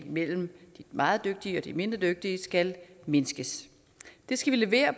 imellem de meget dygtige og de mindre dygtige skal mindskes det skal vi levere